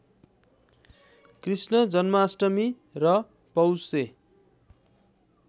कृष्ण जन्माष्टमी र पौषे